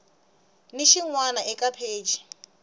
ni xin wana eka pheji